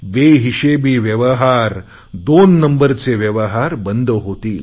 बेहिशेबी व्यवहार दोन नंबरचे व्यवहार बंद होतील